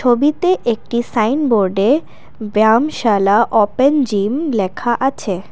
ছবিতে একটি সাইনবোর্ডে ব্যায়াম শালা অপেন জিম লেখা আছে।